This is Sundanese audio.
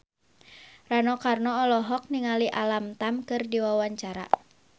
Rano Karno olohok ningali Alam Tam keur diwawancara